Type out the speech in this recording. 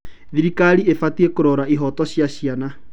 Thirikari ĩbatiĩ kũrora ihooto cia ciana.